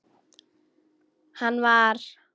Hann var.